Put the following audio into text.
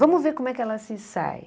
Vamos ver como é que ela se sai.